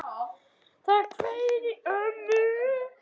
Það hvein í ömmu.